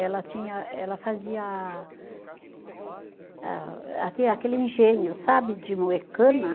Ela tinha, ela fazia aquele engenho, sabe, de moer cana?